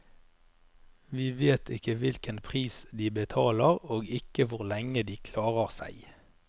Vi vet ikke hvilken pris de betaler og ikke hvor lenge de klarer seg.